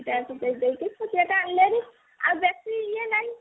ଦିଟା ଯାକ ବିକି ଦେଇକି ଛୋଟିଆ ଟେ ଆଣିଲେ ହେରି ଆଉ ବେସୀ ଇଏ ନାହି